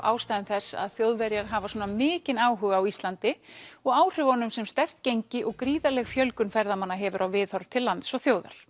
ástæðum þess að Þjóðverjar hafa svona mikinn áhuga á Íslandi og áhrifunum sem sterkt gengi og gríðarleg fjölgun ferðamanna hefur á viðhorf til lands og þjóðar